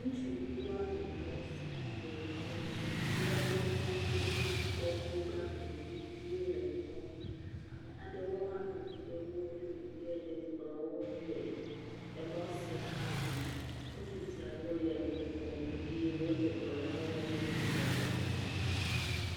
Ŋutsuvi wo ame etɔ̃ sia le emɔ si kpea ɖe mía ŋu be míakpɔ nugbagbe viviwo me kpɔm. Ame aɖewo hã nɔ anyi ɖe woƒe megbe le kplɔ̃ ŋu le emɔ sia hã zam. Ŋutsu siawo le nu kom eye wole dɔ la wɔm le dzidzɔkpɔkpɔ me.